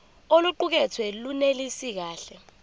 oluqukethwe lunelisi kahle